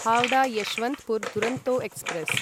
Howrah Yesvantpur Duronto express